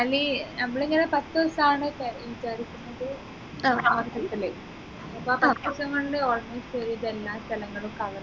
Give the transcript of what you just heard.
മണാലി നമ്മളിനി ഒരു പത്തു ദിവസാണ് പോവാൻ വിചാരിക്കുന്നത് അപ്പോ ആ പത്തു ദിവസം കൊണ്ട് almost ഒരുവിധ എല്ലാ സ്ഥലങ്ങളും cover ചെയ്യണം